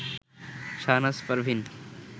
Shahnaz Parveen